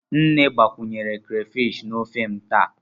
Nne gbakwunyere crayfish na ofe m taa.